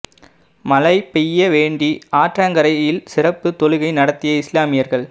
மழை பெய்ய வேண்டி ஆற்றங்கரையில் சிறப்பு தொழுகை நடத்திய இஸ்லாமியர்கள்